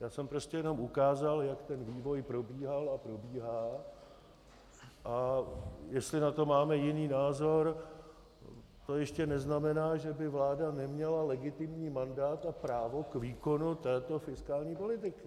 Já jsem prostě jenom ukázal, jak ten vývoj probíhal a probíhá, a jestli na to máme jiný názor, to ještě neznamená, že by vláda neměla legitimní mandát a právo k výkonu této fiskální politiky.